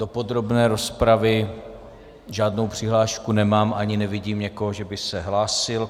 Do podrobné rozpravy žádnou přihlášku nemám ani nevidím někoho, že by se hlásil.